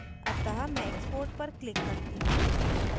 अतः मैं export पर click करती हूँ